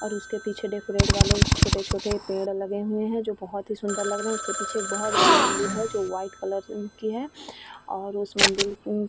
और उसके पीछे डेकोरेट वाले छोटे-छोटे पेड़ लगे हुए हैं जो बोहोत ही सुंदर लग रहे हैं। उसके पीछे एक बोहोत बड़ी मंदिर है जो व्हाइट कलर से है और उस मंदिर --